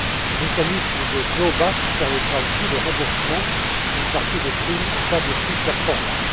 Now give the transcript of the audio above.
Le mécanisme de clawback permettra aussi le remboursement d'une partie des primes en cas de sous performance.